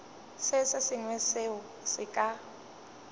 se sengwe seo se ka